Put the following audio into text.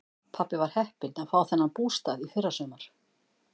Pabbi var heppinn að fá þennan bústað í fyrrasumar.